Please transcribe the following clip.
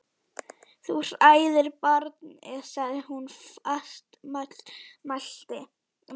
Þú hræðir barnið, sagði hún fastmælt.